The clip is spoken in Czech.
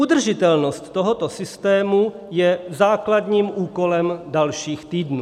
Udržitelnost tohoto systému je základním úkolem dalších týdnů.